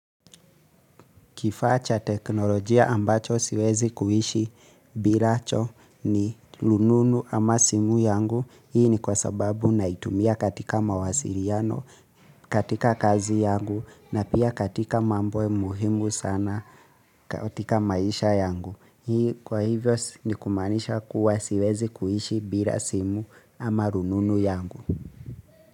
Kifaa cha teknolojia ambacho siwezi kuishi bilacho ni rununu ama simu yangu. Hii ni kwa sababu naitumia katika mawasiliano, katika kazi yangu na pia katika mambo muhimu sana katika maisha yangu. Hii kwa hivyo ni kumaanisha kuwa siwezi kuishi bila simu ama rununu yangu.